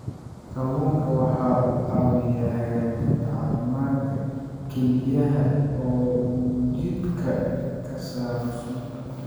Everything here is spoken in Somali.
Kalluunku waxa uu caawiyaa hagaajinta caafimaadka kelyaha oo uu jidhka ka saaro sunta.